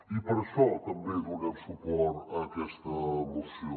i per això també donem suport a aquesta moció